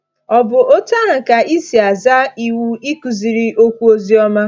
Ọ̀ bụ otú ahụ ka ị si aza iwu ịkuziri okwu oziọma?